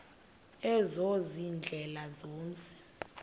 ezo ziindlela zomzi